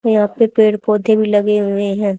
यहां पे पेड़ पौधे भी लगे हुए हैं।